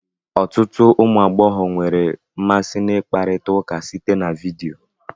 Ọtụtụ ụmụ agbọghọ nwere mmasị na ikparita ụka site na vidio